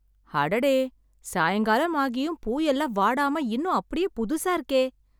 அடடே. சாயங்காலம் ஆகியும் பூ எல்லாம் வாடாம இன்னும் அப்படியே புதுசா இருக்கே.